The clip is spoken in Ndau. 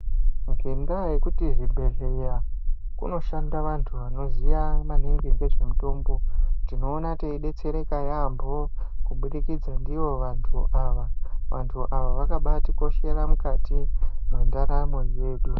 Ngenda yekuti zvi bhedhleya kuno shanda vantu vanoziya maningi ngezve mutombo tinoona teyi detsereka yambo kubudikidze ndivo vantu ava vantu ava vakabai tikoshera mukati mwe ndaramo yedu.